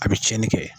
A bɛ tiɲɛni kɛ